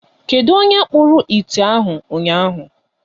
Kedụ onye kpụrụ ite ahụ ụnyaahụ.